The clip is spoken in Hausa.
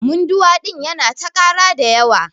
Munduwa ɗin Yana ta ƙara da yawa.